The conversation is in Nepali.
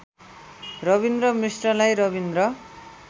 रबिन्द्र मिश्रलाई रविन्द्र